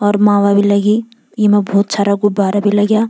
और माला भी लगीं येमा भोत सारा गुब्बारा भी लग्याँ ।